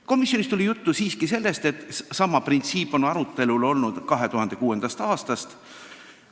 Komisjonis märgiti, et see printsiip on arutelul olnud 2006. aastast.